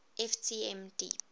ft m deep